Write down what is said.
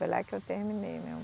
Foi lá que eu terminei meu